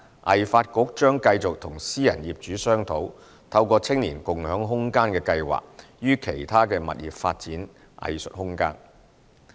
藝發局將繼續與私人業主商討，透過"青年共享空間計劃"於其他物業發展藝術空間。